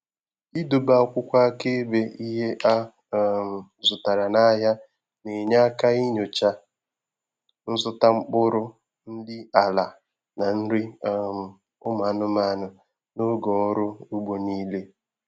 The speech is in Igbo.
Ị dobe akwụkwọ akaebe ihe a um zụtara n'ahịa na enye aka inyocha nzụta mkpụrụ, nri ala, na nri um umụ anụmanụ na oge ọrụ ugbo nile